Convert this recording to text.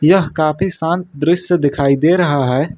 यह काफी शांत दृश्य दिखाई दे रहा है।